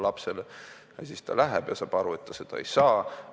Ja siis ta läheb seda võtma, aga saab aru, et ta seda ei saa.